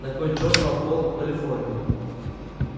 на кой чёрт вам волк в калифорнии